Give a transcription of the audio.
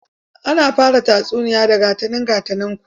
Ana fara tatsuniya da 'Ga ta nan ga ta nanku'